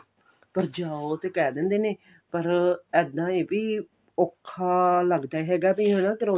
ਅੱਛਾ ਉਹ ਤੇ ਕਹਿ ਦਿੰਦੇ ਨੇ ਪਰ ਇੱਦਾਂ ਏ ਬੀ ਔਖਾ ਲੱਗਦਾ ਹੈਗਾ ਬੀ ਹਨਾ